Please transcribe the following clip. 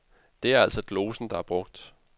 Det er altså glosen, der er brugt.